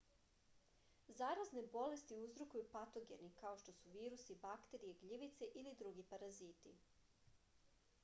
zarazne bolesti uzrokuju patogeni kao što su virusi bakterije gljivice ili drugi paraziti